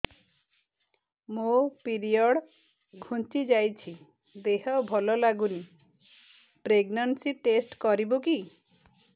ମୋ ପିରିଅଡ଼ ଘୁଞ୍ଚି ଯାଇଛି ଦେହ ଭଲ ଲାଗୁନି ପ୍ରେଗ୍ନନ୍ସି ଟେଷ୍ଟ କରିବୁ କି